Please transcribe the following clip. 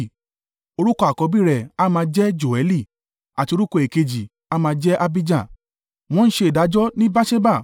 Orúkọ àkọ́bí rẹ̀ a máa jẹ́ Joẹli àti orúkọ èkejì a máa jẹ́ Abijah, wọ́n ṣe ìdájọ́ ní Beerṣeba.